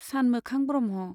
सानमोखां Brahma.